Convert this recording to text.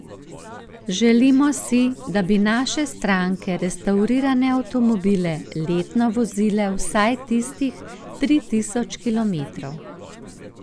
Želimo si, da bi naše stranke restavrirane avtomobile letno vozile vsaj tistih tri tisoč kilometrov.